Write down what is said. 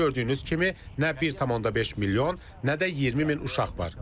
Gördüyünüz kimi nə 1,5 milyon, nə də 20 min uşaq var.